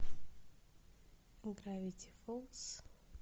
гравити фолз